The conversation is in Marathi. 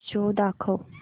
शो दाखव